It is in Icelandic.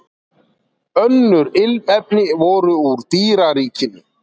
Önnur ilmefni voru úr dýraríkinu.